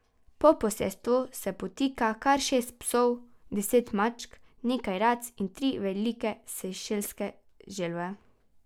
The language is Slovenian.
Po posestvu se potika kar šest psov, deset mačk, nekaj rac in tri velike sejšelske želve.